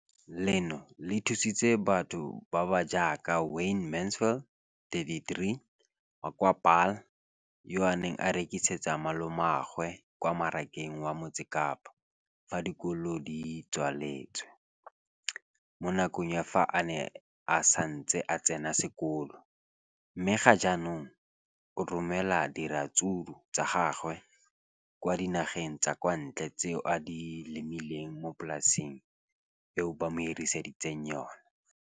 leno le thusitse batho ba ba jaaka Wayne Mansfield, 33, wa kwa Paarl, yo a neng a rekisetsa malomagwe kwa Marakeng wa Motsekapa fa dikolo di tswaletse, mo nakong ya fa a ne a santse a tsena sekolo, mme ga jaanong o romela diratsuru tsa gagwe kwa dinageng tsa kwa ntle tseo a di lemileng mo polaseng eo ba mo hiriseditseng yona.